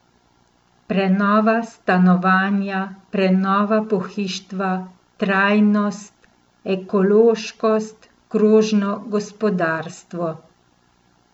Prenova stanovanja, prenova pohištva, trajnostnost, ekološkost, krožno gospodarstvo...